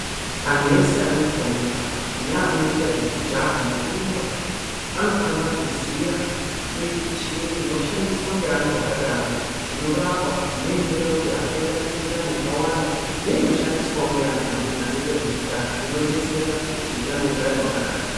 Anhu ese anotomuka, naanoita zvekujaha nekurumba anofaniora kuziya michini ino shandiswa ngeantu akadaro inorapa neinoita kuti asaita mikuhlani yakawanda neino shandiswawo ngeantu amweni anoite zvekujaha inodetsera kuti utano ugare hwakanaka.